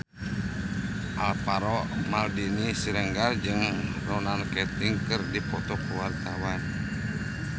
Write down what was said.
Alvaro Maldini Siregar jeung Ronan Keating keur dipoto ku wartawan